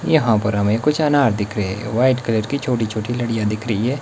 यहां पर हमें कुछ अनार दिख रहे हैं व्हाइट कलर की छोटी छोटी लड़ियां दिख रही हैं।